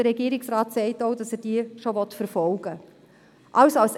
Der Regierungsrat sagt auch, dass er diesen nachgehen will.